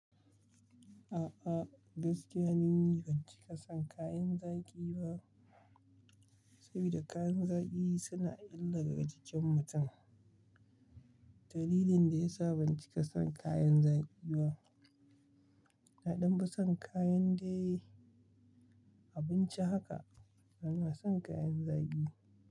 A'a, gaskiya ni ban cika son kayan zaki ba, saboda kayan zaki suna illa ga jikin mutum. Dalilin da ya sa ban cika son kayan zaki ba, naɗan ba son kayan da ya yi abinci haka, bana son kayan zaki.